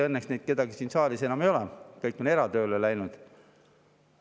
Õnneks neist kedagi siin saalis enam ei ole, kõik on eratööle läinud.